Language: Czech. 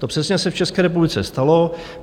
To přesně se v České republice stalo.